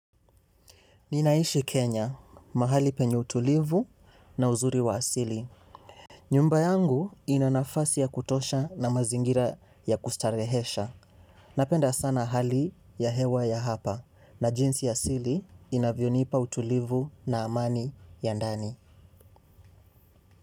Ninaishi Kenya mahali penye utulivu na uzuri wa asili. Nyumba yangu ina nafasi ya kutosha na mazingira ya kustarehesha. Napenda sana hali ya hewa ya hapa na jinsi asili inavyonipa utulivu na amani ya ndani.